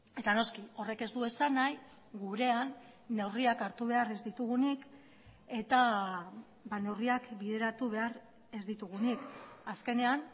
eta noski horrek ez du esan nahi gurean neurriak hartu behar ez ditugunik eta neurriak bideratu behar ez ditugunik azkenean